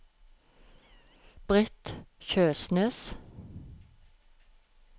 Brith Kjøsnes